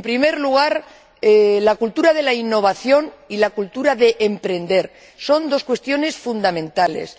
En primer lugar, la cultura de la innovación y la cultura de emprender. Son dos cuestiones fundamentales.